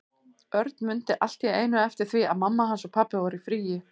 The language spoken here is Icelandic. Örn mundi allt í einu eftir því að mamma hans og pabbi voru í fríi.